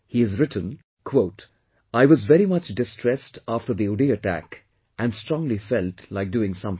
He has written "I was very much distressed after the Uri attack and strongly felt like doing something